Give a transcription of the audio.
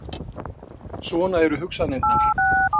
Svona eru hugsanirnar.